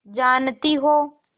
जानती हो